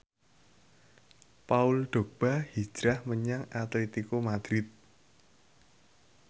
Paul Dogba hijrah menyang Atletico Madrid